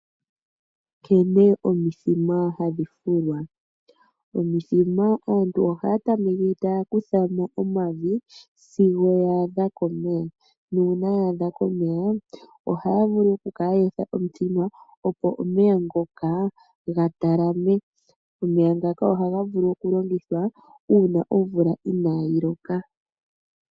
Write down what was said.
Nkene omithima hadhi fulwa. Omithima aantu ohaya tameke taya kutha mo omavi sigo ya adha komeya. Nuuna ya adha komeya ohaya vulu okukala ye etha omuthima, opo omeya ngoka ga talame. Omeya ngaka ohaga vulu okulongithwa uuna omvula inayi loka.